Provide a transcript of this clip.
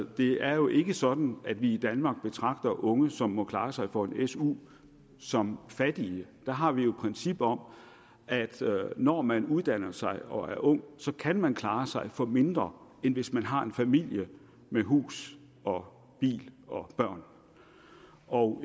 det er jo ikke sådan at vi i danmark betragter unge som må klare sig for en su som fattige der har vi jo et princip om at når man uddanner sig og er ung kan man klare sig for mindre end hvis man har en familie med hus og bil og